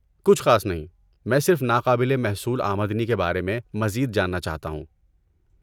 کچھ خاص نہیں، میں صرف ناقابل محصول آمدنی کے بارے میں مزید جاننا چاہتا ہوں۔